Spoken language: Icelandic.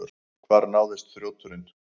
Hvar náðist þrjóturinn?